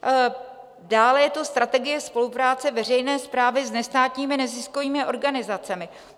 Dále je to Strategie spolupráce veřejné správy s nestátními neziskovými organizacemi.